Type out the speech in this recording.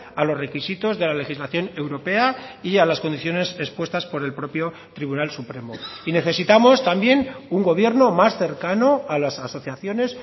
a los requisitos de la legislación europea y a las condiciones expuestas por el propio tribunal supremo y necesitamos también un gobierno más cercano a las asociaciones